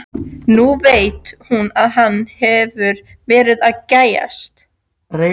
Nú veit hún að hann hefur verið að gægjast.